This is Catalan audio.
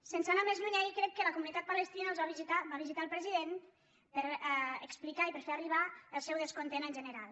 sense anar més lluny ahir crec que la comunitat palestina els va visitar va visitar el president per explicar i per fer arribar el seu descontentament en general